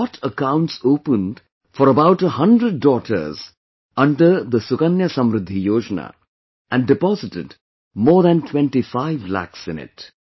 He got accounts opened for about 100 daughters under 'Sukanya Samridhi Yojana', and deposited more than 25 lakhs in it